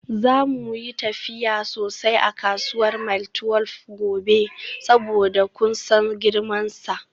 Za mu yi tafiya sosai a kasuwar Mile 12 gobe saboda kun san girmansa.